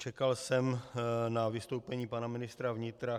Čekal jsem na vystoupení pana ministra vnitra.